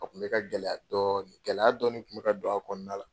A kun bɛ ka gɛlɛya dɔɔni, gɛlɛya dɔɔni kun bɛ ka don a kɔnɔna la.